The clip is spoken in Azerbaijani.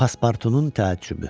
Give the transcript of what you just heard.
Paspartunun təəccübü.